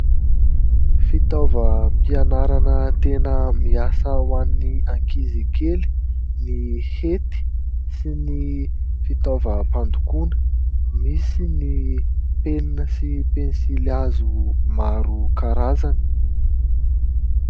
Fitaovam-pianarana tena miasa ho any ankizikely ny hety sy ny fitaovam-pandokoana, misy ny penina sy ny pensilihazo maro isan-karazany.